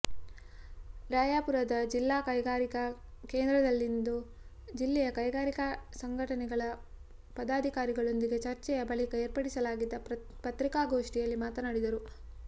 ರಾಯಾಪುರದ ಜಿಲ್ಲಾ ಕೈಗಾರಿಕಾ ಕೇಂದ್ರದಲ್ಲಿಂದು ಜಿಲ್ಲೆಯ ಕೈಗಾರಿಕಾ ಸಂಘಟನೆಗಳ ಪದಾಧಿಕಾರಿಗಳೊಂದಿಗೆ ಚರ್ಚೆಯ ಬಳಿಕ ಏರ್ಪಡಿಸಲಾಗಿದ್ದ ಪತ್ರಿಕಾಗೋಷ್ಠಿಯಲ್ಲಿ ಮಾತನಾಡಿದರು